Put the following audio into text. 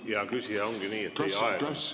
Hea küsija, ongi nii, et teie aeg on läbi.